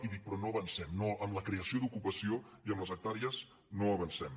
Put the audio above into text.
però dic no avancem en la creació d’ocupació i en les hectàrees no avancem